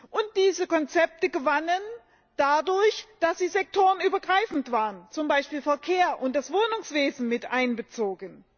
Und diese Konzepte gewannen dadurch, dass sie sektorenübergreifend waren, zum Beispiel waren der Verkehr und das Wohnungswesen miteinbezogen.